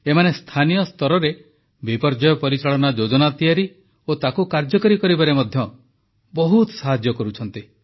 ଏମାନେ ସ୍ଥାନୀୟ ସ୍ତରରେ ବିପର୍ଯ୍ୟୟ ପରିଚାଳନା ଯୋଜନା ତିଆରି ଓ ତାକୁ କାର୍ଯ୍ୟକାରୀ କରିବାରେ ମଧ୍ୟ ବହୁତ ସାହାଯ୍ୟ କରୁଛନ୍ତି